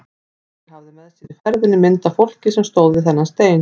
Ásgeir hafði með sér í ferðinni mynd af fólki sem stóð við þennan stein.